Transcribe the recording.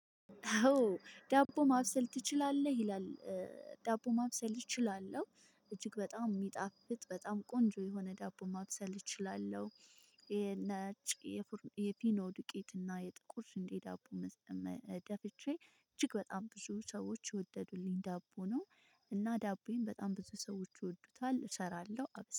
ዳቦ ማብሰል ትችላለህ ይላል? ዳቦ ማብሰል እችላለሁ እጅግ በጣም የሚጣፍጥ በጣም ቆንጆ የሆነ ዳቦ ማብሰል እችላለሁ። ነጭ የፊኖ ዱቄት እና የጥቁር ስንዴ ዳቦ። ደፍቼ እጅግ በጣም ብዙ ሰዎች የወደዱልኝ ዳቦ ነው። እና ዳቦዬን በጣም ብዙ ሰዎች ይወዱታል እሰራለሁ።